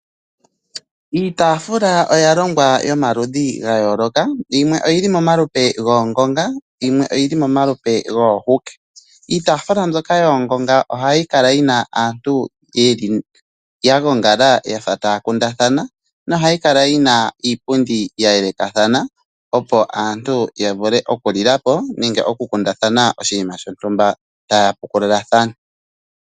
Iitaafula oya longwa yomaludhi gayooloka . Yimwe oyi li momalupe goongonga nayimwe oyi li momalupe goohuke . Iitaafula mbyoka yoongonga ohayi kala yi na aantu ya gongala ya fa taya kundathana nohayi kala yi na iipundi ya yelekathana opo aantu yavule okulila po nenge oku kundathana oshiima shontumba , taya pukululathana .